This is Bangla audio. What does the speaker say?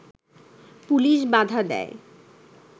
পুলিশ বাধা দেয়